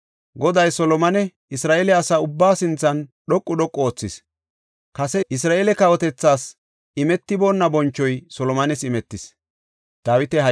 Goday Solomone Isra7eele asa ubbaa sinthan dhoqu dhoqu oothis; kase Isra7eele kawotas imetiboonna boncho Solomones immis.